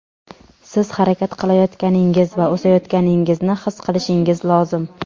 Siz harakat qilayotganingiz va o‘sayotganingizni his qilishingiz lozim.